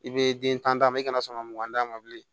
I bɛ den tan d'a ma i kana sɔn ka mugan d'a ma bilen